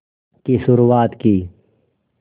की शुरुआत की